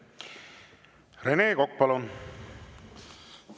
Rene Kokk, palun!